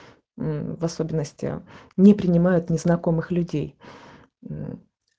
м в особенности не принимают незнакомых людей э